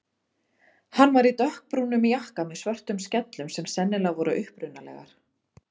Hann var í dökkbrúnum jakka með svörtum skellum sem sennilega voru upprunalegar.